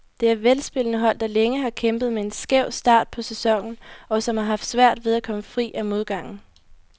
Det er velspillende hold, der længe har kæmpet med en skæv start på sæsonen, og som har haft svært ved at komme fri af modgangen.